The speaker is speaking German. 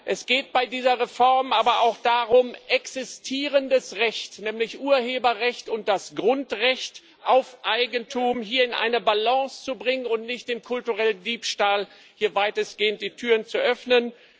Es geht bei dieser Reform aber auch darum, existierendes Recht nämlich Urheberrecht und das Grundrecht auf Eigentum hier in eine Balance zu bringen und nicht dem kulturellen Diebstahl weitestgehend die Türen zu öffnen.